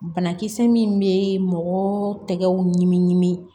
Banakisɛ min bɛ mɔgɔ tɛgɛw ɲimi ɲinini